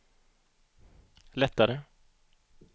lättare